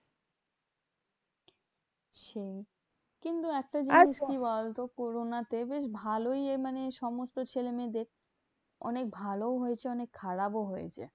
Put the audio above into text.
সেই কিন্তু একটা জিনিস কি বলতো corona তে বেশ ভালোই এ মানে ছেলেমেয়েদের অনেক ভালোও হয়েছে অনেক খারাপও হয়েছে।